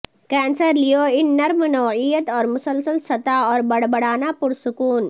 cancer Leo ان نرم نوعیت اور مسلسل ستا اور بڑبڑانا پرسکون